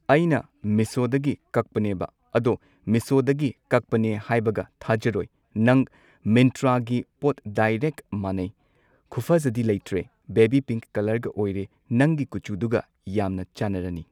ꯑꯩꯅ ꯃꯤꯁꯣꯗꯒꯤ ꯀꯛꯄꯅꯦꯕ ꯑꯗꯣ ꯃꯤꯁꯣꯗꯒꯤ ꯀꯛꯄꯅꯦ ꯍꯥꯏꯕꯒ ꯊꯥꯖꯔꯣꯏ ꯅꯪ ꯃꯤꯟꯇ꯭ꯔꯥꯒꯤ ꯄꯣꯠ ꯗꯥꯏꯔꯦꯛ ꯃꯥꯟꯅꯩ ꯈꯨꯐꯖꯗꯤ ꯂꯩꯇ꯭ꯔꯦ ꯕꯦꯕꯤ ꯄꯤꯡꯛ ꯀꯂꯔꯒ ꯑꯣꯏꯔꯦ ꯅꯪꯒꯤ ꯀꯨꯆꯨꯗꯨꯒ ꯌꯥꯝꯅ ꯆꯥꯟꯅꯔꯅꯤ